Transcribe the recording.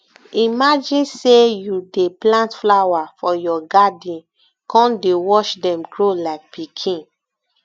imagine sey you dey plant flower for your garden come dey watch dem grow like pikin